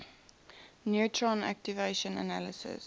neutron activation analysis